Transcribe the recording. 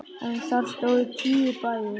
En þar stóðu tíu bæir.